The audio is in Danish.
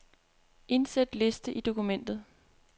Indsæt liste i dokumentet.